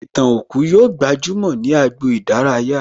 Ìtàn òkú yóò gbajúmò ní agbo ìdárayá